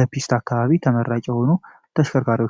ለፒስታ አካባቢ የሚሆኑ ተሽከርካሪዎች ናቸው።